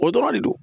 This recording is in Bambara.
O dɔrɔn de do